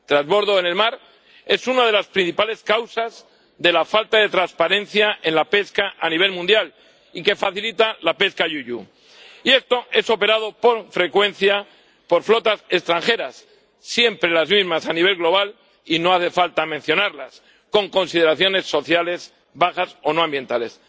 El trasbordo en el mar es una de las principales causas de la falta de transparencia en la pesca a nivel mundial y que facilita la pesca INDNR. Y esto lo realizan con frecuencia flotas extranjeras, siempre las mismas a nivel global —y no hace falta mencionarlas—, con consideraciones sociales bajas o no ambientales.